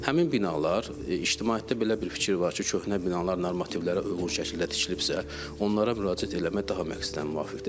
Həmin binalar ictimaiyyətdə belə bir fikir var ki, köhnə binalar normativlərə uyğun şəkildə tikilibsə, onlara müraciət eləmək daha məqsədə müvafiqdir.